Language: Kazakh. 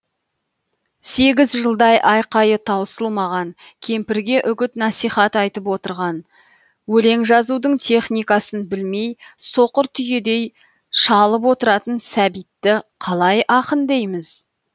сегіз жылдай айқайы таусылмаған кемпірге үгіт насихат айтып отырған өлең жазудың техникасын білмей соқыр түйедей шалып отыратын сәбитті қалай ақын дейміз